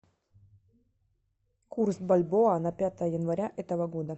курс бальбоа на пятое января этого года